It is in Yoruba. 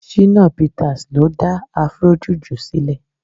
Shina Peters ló dá Afro juju silè